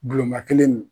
Bulonba kelen